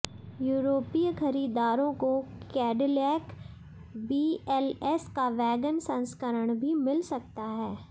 यूरोपीय खरीदारों को कैडिलैक बीएलएस का वैगन संस्करण भी मिल सकता है